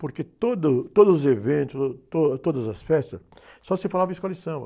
Porque toda o, todos os eventos, to, todas as festas, só se falava escola de samba.